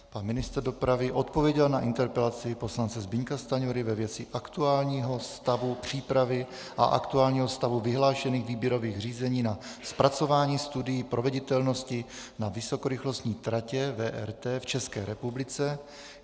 Pan ministr dopravy odpověděl na interpelaci poslance Zbyňka Stanjury ve věci aktuálního stavu přípravy a aktuálního stavu vyhlášených výběrových řízení na zpracování studií proveditelnosti na vysokorychlostní tratě VRT v České republice.